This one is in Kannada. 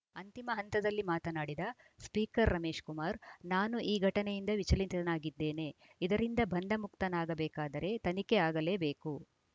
ಅಂತಿಮ ಹಂತದಲ್ಲಿ ಮಾತನಾಡಿದ ಸ್ಪೀಕರ್‌ ರಮೇಶ್‌ಕುಮಾರ್‌ ನಾನು ಈ ಘಟನೆಯಿಂದ ವಿಚಲಿತನಾಗಿದ್ದೇನೆ ಇದರಿಂದ ಬಂಧಮುಕ್ತನಾಗಬೇಕಾದರೆ ತನಿಖೆ ಆಗಲೇಬೇಕು